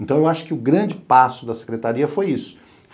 Então, eu acho que o grande passo da secretaria foi isso.